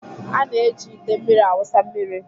A na-eji ite mmiri awụsa mmiri